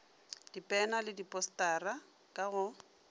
dipena le diposetara ka go